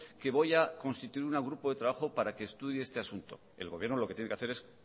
que voy a constituir un grupo de trabajo para que estudie este asunto el gobierno lo que tiene que hacer es